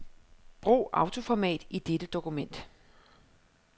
Brug autoformat i dette dokument.